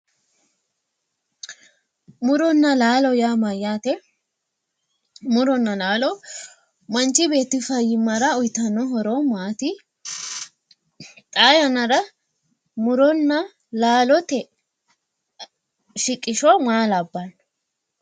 Muronna laalo yaa mayyaate? muronna laalo manchi beetti fayyyimmara horo uytanno horo maati? Xaa yannara muronna laalote shiqisho maa labbanno